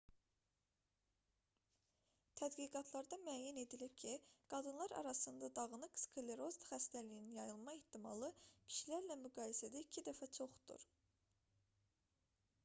tədqiqatlarda müəyyən edilib ki qadınlar arasında dağınıq skleroz xəstəliyinin yayılma ehtimalı kişilərlə müqayisədə iki dəfə çoxdur